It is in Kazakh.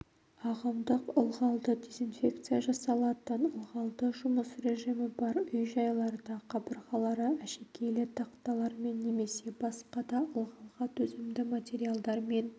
ағымдық ылғалды дезинфекция жасалатын ылғалды жұмыс режимі бар үй-жайларда қабырғалары әшекейлі тақталармен немесе басқа да ылғалға төзімді материалдармен